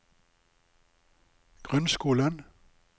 grunnskolen